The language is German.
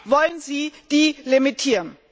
Warum wollen Sie die limitieren?